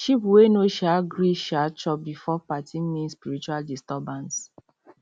sheep wey no um gree um chop before party mean spiritual disturbance